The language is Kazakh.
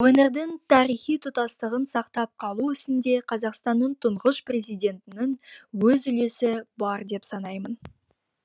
өңірдің тарихи тұтастығын сақтап қалу ісінде қазақстанның тұңғыш президентінің өз үлесі бар деп санаймын